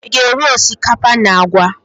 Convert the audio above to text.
Ị ga-eri osikapa na àgwà?